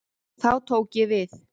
Þá tók ég við.